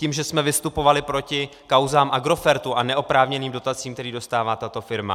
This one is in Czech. Tím, že jsme vystupovali proti kauzám Agrofertu a neoprávněným dotacím, které dostává tato firma.